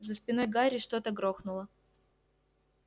за спиной гарри что-то грохнуло